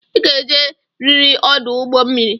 I ga-eje riri ọdụ ụgbọ mmiri!